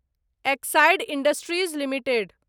Exide Industries limited